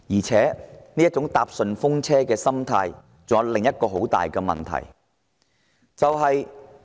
這種"坐順風車"的心態還有另一個嚴重問題。